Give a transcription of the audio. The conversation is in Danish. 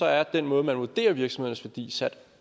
er den måde man vurderer virksomheders værdi sat